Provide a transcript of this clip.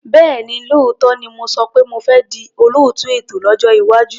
Bẹ́ẹ̀ni, lóòótọ́ ni mo sọ pé mo fẹ́ di olóòtú ètò lọ́jọ́ iwájú.